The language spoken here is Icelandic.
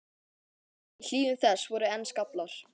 Í hlíðum þess voru enn skaflar.